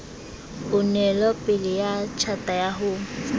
onelopele ya tjhata ya ho